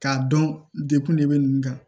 K'a dɔn degun de bɛ nin kan